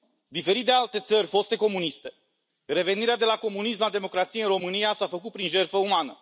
Diferit de alte țări foste comuniste, revenirea de la comunism la democrație în România s a făcut prin jertfă umană.